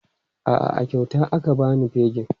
A'a, a kyauta aka ba ni fegin.